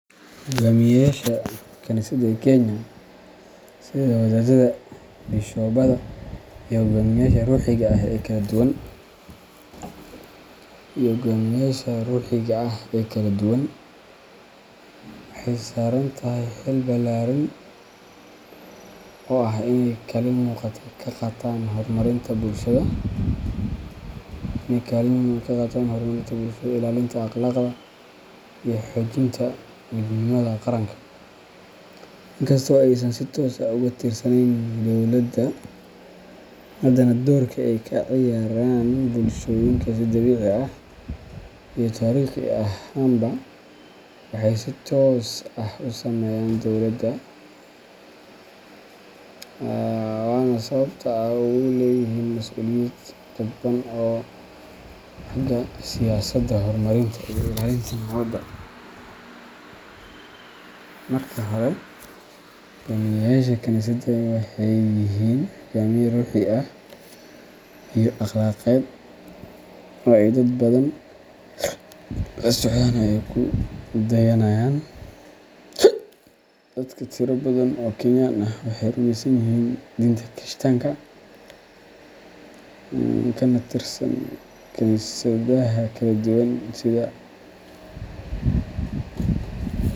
Hoggaamiyeyaasha kaniisadaha ee Kenya sida wadaaddada, bishobada, iyo hoggaamiyeyaasha ruuxiga ah ee kala duwan waxay saaran tahay xil ballaaran oo ah inay kaalin muuqata ka qaataan horumarinta bulshada, ilaalinta akhlaaqda, iyo xoojinta midnimada qaranka. Inkasta oo aysan si toos ah uga tirsaneyn dowladda, haddana doorarka ay ka ciyaaraan bulshooyinka si dabiici ah iyo taariikhi ahaanba waxay si toos ah u saameeyaan dowladda, waana sababta ay ugu leeyihiin mas’uuliyad dadban oo xagga siyaasadda, horumarinta, iyo ilaalinta nabadda. Marka hore, hoggaamiyeyaasha kaniisadaha waxay yihiin hogaamiye ruuxi ah iyo akhlaaqeed oo ay dad badan la socdaan oo ay ku dayanayaan. Dadka tiro badan oo Kenyan ah waxay rumeysan yihiin diinta Kirishtaanka, kana tirsan kaniisadaha kala duwan sida.